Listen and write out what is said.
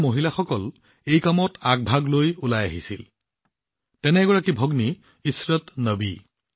ইয়াৰ মহিলাসকল এই কামত আগভাগ লৈ আহিছিল যেনে এগৰাকী ভগ্নী ইছৰাত নবী